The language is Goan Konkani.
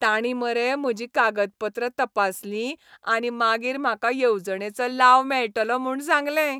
तांणी मरे म्हजीं कागदपत्रां तपासलीं आनी मागीर म्हाका येवजणेचो लाव मेळटलो म्हूण सांगलें.